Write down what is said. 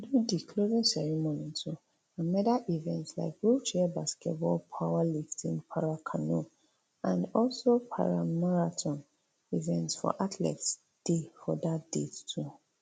o di closing ceremony too and medal events like wheelchair basketball powerlifting paracanoe and also paramarathon events for athletics dey for dat date to